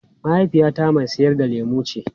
Mahaifiyata mai sayar da lemu ce.